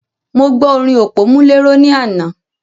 Mo gbo orin òpómúléró ní àná.